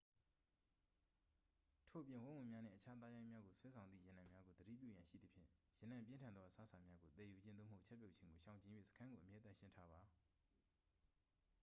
ထို့အပြင် ဝက်ဝံများနှင့် အခြားသားရိုင်းများကို ဆွဲဆောင်သည့် ရနံ့များကို သတိပြုရန်ရှိသဖြင့် ရနံ့ပြင်းထန်သော အစားအစာများကို သယ်ယူခြင်း သို့မဟုတ် ချက်ပြုတ်ခြင်းကို ရှောင်ကြဉ်၍ စခန်းကို အမြဲသန့်ရှင်းထားပါ